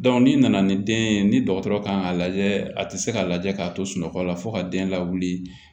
ni nana ni den ye ni dɔgɔtɔrɔ kan k'a lajɛ a tɛ se ka lajɛ k'a to sunɔgɔ la fo ka den lawuli